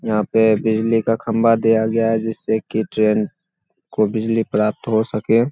यहाँ पे बिजली का खंभा दिया गया है जिससे की ट्रेन को बिजली प्राप्त हो सके।